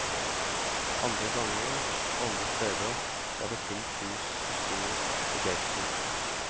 Andre ganger og andre steder var det fullt hus og stor begeistring.